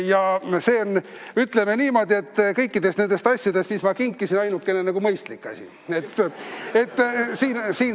Ja see on, ütleme niimoodi, kõikidest nendest asjadest, mis ma olen kinkinud, ainukene mõistlik asi.